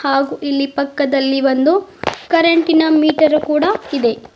ಹಾಗೂ ಇಲ್ಲಿ ಪಕ್ಕದಲ್ಲಿ ಒಂದು ಕರೆಂಟ್ ಇನ ಮೀಟರ್ ಕೂಡ ಇದೆ.